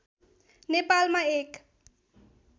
नेपालमा एक